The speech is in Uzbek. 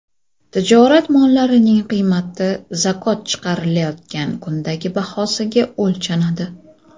Tijorat mollarining qiymati zakot chiqarilayotgan kundagi bahosida o‘lchanadi.